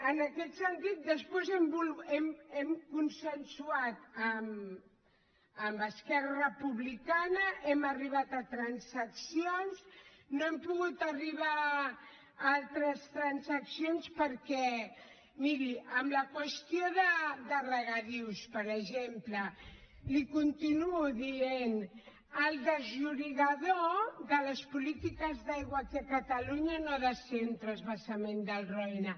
en aquest sentit després hem consensuat amb esquerra republicana hem arribat a transaccions no hem pogut arribar a altres transaccions perquè miri amb la qüestió de regadius per exemple li continuo dient el desllorigador de les polítiques d’aigua aquí a catalunya no ha de ser un transvasament del roine